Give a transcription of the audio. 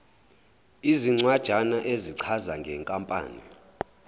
izincwanjana ezichaza ngenkampani